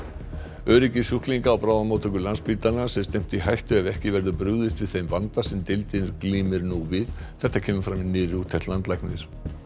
öryggi sjúklinga á bráðamóttöku Landspítalans er stefnt í hættu ef ekki verður brugðist við þeim vanda sem deildin glímir nú við þetta kemur fram í nýrri úttekt landlæknis